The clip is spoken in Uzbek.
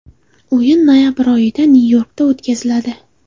O‘yin noyabr oyida Nyu-Yorkda o‘tkaziladi.